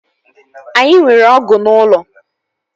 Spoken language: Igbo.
Anyị nwere ọgụ n'ụlọ